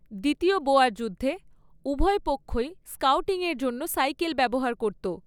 দ্বিতীয় বোয়ার যুদ্ধে, উভয় পক্ষই স্কাউটিংয়ের জন্য সাইকেল ব্যবহার করত।